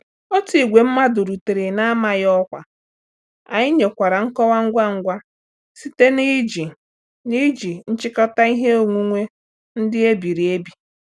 Otu ìgwè mmàdu rutere n'amaghị ọkwa, anyị nyekwara nkọwa ngwa ngwa site n'iji n'iji nchịkọta ihe onwunwe ndị e biri ebi.